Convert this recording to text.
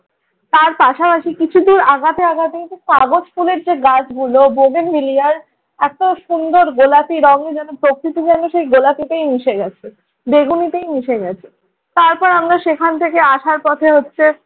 তার পাশাপাশি কিছু দূর আগাতে আগাতে এই যে কাগজ ফুলের যে গাছগুলো বোদেন মিলিয়ার ওদের এত সুন্দর গোলাপী রঙে যেন প্রকৃতিবর্ণে সেই গোলাপিটাই মিশে গেছে। বেগুনিতেই মিশে গেছে। তারপর আমরা সেখান থেকে আসার পথে হচ্ছে